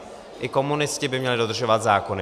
I komunisti by měli dodržovat zákony.